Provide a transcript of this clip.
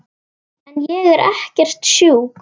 En ég er ekkert sjúk.